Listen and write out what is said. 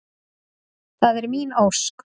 Það er mín ósk.